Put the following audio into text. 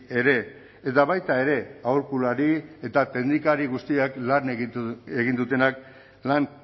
ere eta baita ere aholkulari eta teknikari guztiak lan egin dutenak lan